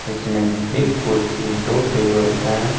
इस में एक कुर्सी दो टेबल हैं।